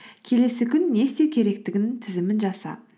келесі күн не істеу керектігінің тізімін жаса